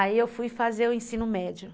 Aí eu fui fazer o ensino médio.